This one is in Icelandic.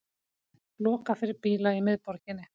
Lokað fyrir bíla í miðborginni